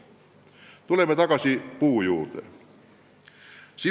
Tuleme tagasi haldusreformi eesmärgipuu juurde.